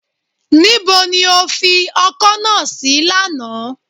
Nibo ni o fi ọkọ́ náà sí lánàá